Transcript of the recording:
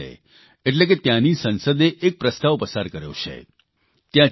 ચીલીની congress એટલે કે ત્યાંની સંસદે એક પ્રસ્તાવ પસાર કર્યો છે